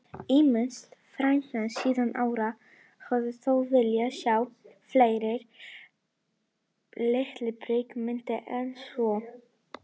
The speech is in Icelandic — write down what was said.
Ýmsir fræðimenn síðari ára hafa þó viljað sjá fleiri litbrigði í myndinni en svo.